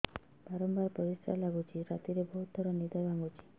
ବାରମ୍ବାର ପରିଶ୍ରା ଲାଗୁଚି ରାତିରେ ବହୁତ ଥର ନିଦ ଭାଙ୍ଗୁଛି